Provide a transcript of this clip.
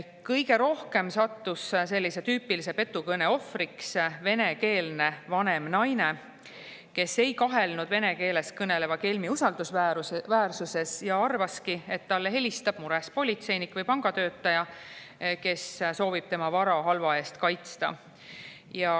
Kõige rohkem sattus sellise tüüpilise petukõne ohvriks venekeelne vanem naine, kes ei kahelnud vene keeles kõneleva kelmi usaldusväärsuses ja arvaski, et talle helistab mures politseinik või pangatöötaja, kes soovib tema vara halva eest kaitsta.